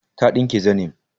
Ta ɗinke zanim